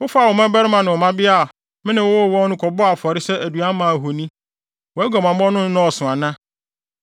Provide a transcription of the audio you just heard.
“ ‘Wofaa wo mmabarima ne wo mmabea, a me ne wo woo wɔn no kɔbɔɔ afɔre sɛ aduan maa ahoni. Wʼaguamammɔ no nnɔɔso ana?